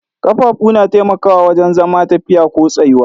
Ƙafafu na taimakawa wajen zama, tafiya ko tsayuwa.